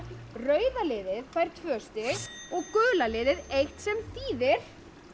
rauða liðið fær tvö stig og gula liðið einn sem þýðir